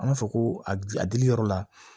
An b'a fɔ ko a dili yɔrɔ la